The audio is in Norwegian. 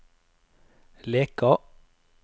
Leka